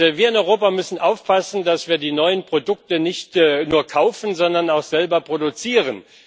Wir in Europa müssen aufpassen, dass wir die neuen Produkte nicht nur kaufen, sondern auch selber produzieren.